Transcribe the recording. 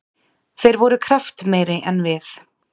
Þeir voru kraftmeiri en við.